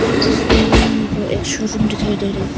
इस तस्वीर में हमको एक शोरूम दिखाई दे रही।